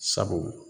Sabu